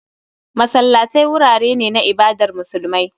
Masallatai wurare ne na ibadar musulmai